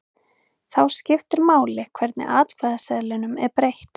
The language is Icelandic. Þá skiptir máli hvernig atkvæðaseðlinum er breytt.